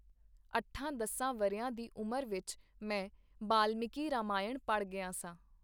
ਅੱਠਾਂ-ਦਸਾਂ ਵਰ੍ਹਿਆਂ ਦੀ ਉਮਰ ਵਿਚ ਮੈਂ ਬਾਲਮੀਕੀ ਰਾਮਾਇਣ ਪੜ੍ਹ ਗਿਆ ਸਾਂ.